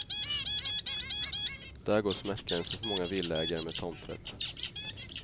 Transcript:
Där går smärtgränsen för många villaägare med tomträtt.